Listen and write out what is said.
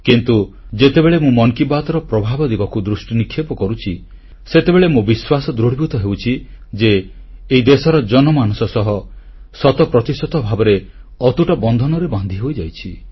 କିନ୍ତୁ ଯେତେବେଳେ ମୁଁ ମନ୍ କି ବାତ୍ର ପ୍ରଭାବ ଦିଗକୁ ଦୃଷ୍ଟିନିକ୍ଷେପ କରୁଛି ସେତେବେଳେ ମୋ ବିଶ୍ୱାସ ଦୃଢ଼ୀଭୂତ ହେଉଛି ଯେ ଏହି ଦେଶର ଜନମାନସ ସହ ଶତପ୍ରତିଶତ ଭାବରେ ଅତୁଟ ବନ୍ଧନରେ ବାନ୍ଧି ହୋଇଯାଇଛି